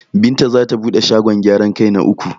Binta zata bude shagon gyaran kai na uku.